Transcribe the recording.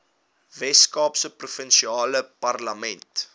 weskaapse provinsiale parlement